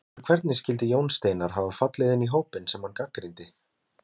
En hvernig skyldi Jón Steinar hafa fallið inn í hópinn sem hann gagnrýndi?